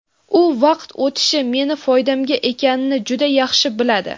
U vaqt o‘tishi meni foydamga ekanini juda yaxshi biladi.